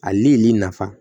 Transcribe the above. A ye lili nafa